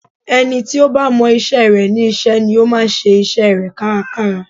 Ẹni tí ó bá mọ isẹ́ rẹ̀ ní iṣẹ́ ni ó máa ń ṣe isẹ́ rẹ̀ kárakára